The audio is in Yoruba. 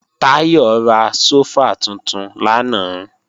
Táyọ̀ ra sófà tuntun lánàá